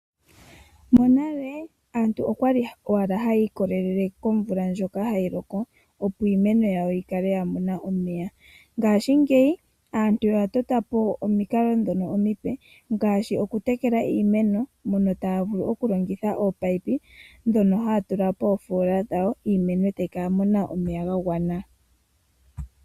Monale aantu okwali owala haya ikolelele momvula ndjoka hayi loko opo iimeno yawo yi kale ya mona omeya. Ngashingeyi aantu oya tota po omikalo ndhono omipe ngaashi okutekela iimeno mono taya vulu okulongitha oopayipi ndhono haya tula poofola dhawo niimeno e tayi kala ya mona omeya gagwana.